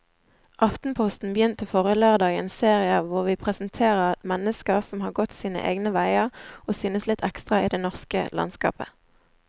Aftenposten begynte forrige lørdag en serie hvor vi presenterer mennesker som har gått sine egne veier og synes litt ekstra i det norske landskapet.